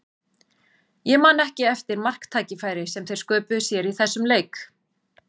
Ég man ekki eftir marktækifæri sem þeir sköpuðu sér í þessum leik.